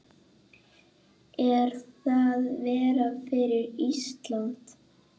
Er það verra fyrir Ísland?